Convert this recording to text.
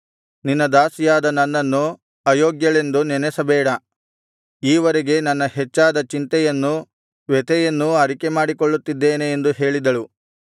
ನಿನ್ನ ದಾಸಿಯಾದ ನನ್ನನ್ನು ಅಯೋಗ್ಯಳೆಂದು ನೆನಸಬೇಡ ಈವರೆಗೆ ನನ್ನ ಹೆಚ್ಚಾದ ಚಿಂತೆಯನ್ನೂ ವ್ಯಥೆಯನ್ನೂ ಅರಿಕೆಮಾಡಿಕೊಳ್ಳುತ್ತಿದ್ದೆನು ಎಂದು ಹೇಳಿದಳು